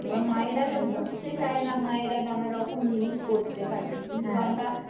মায়েরা তো বুঝতে চায় না মায়েরা নানা রকম জিনিস করতে থাকে কিন্তু আমরা